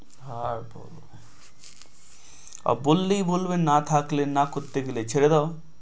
হায় ভগবান বললেই বলবে না থাকলে না করতে গেলে ছেড়ে দাও